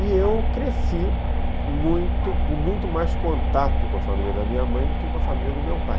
E eu cresci com muito mais contato com a família da minha mãe do que com a família do meu pai.